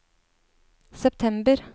september